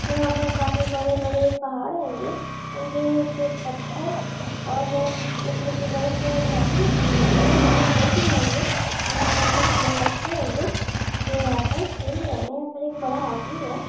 यहाँ पे काफी बड़े बड़े पहाड़ हैंगे उनके निचे पत्थर और ऊपर के तरफ से घास भी निकले होएंगे यहाँ पे पेड़ भी हैंगे यहाँ पे कुछ लोग बच्चे हैंगे जो यहाँ पे खेल रहे हैंगे यहाँ एक बड़ा आदमी है